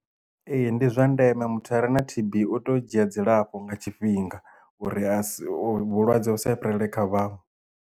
Ee ndi zwa ndeme muthu are na T_B u teo dzhia dzilafho nga tshifhinga uri a si vhulwadze u sa vha fhirele kha vhaṅwe.